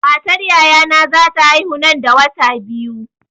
Matar yayana za ta haihu nan da wata biyu.